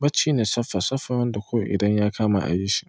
bacci ne saffa saffa wanda kawai idan ya kama a yi shi.